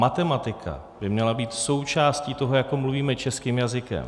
Matematika by měla být součástí toho, jako mluvíme českým jazykem.